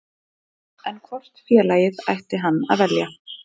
En hvort félagið ætti hann að velja?